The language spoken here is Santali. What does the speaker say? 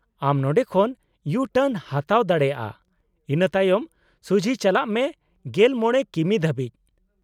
-ᱟᱢ ᱱᱚᱸᱰᱮ ᱠᱷᱚᱱ ᱤᱭᱩ ᱴᱟᱨᱱ ᱮᱢ ᱦᱟᱛᱟᱣ ᱫᱟᱲᱮᱭᱟᱜᱼᱟ, ᱤᱱᱟᱹ ᱛᱟᱭᱚᱢ ᱥᱩᱡᱷᱤ ᱪᱟᱞᱟᱜ ᱢᱮ ᱑᱕ ᱠᱤᱢᱤ ᱫᱷᱟᱹᱵᱤᱡ ᱾